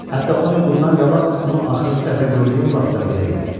Hətta on il bundan qabaq onu axırıncı dəfə gördüyüm vaxtda belə idi.